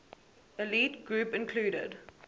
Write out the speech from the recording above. elite group included